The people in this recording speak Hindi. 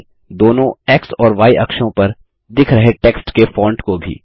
साथ ही दोनों एक्स और य अक्षों पर दिख रहे टेक्स्ट के फॉन्ट को भी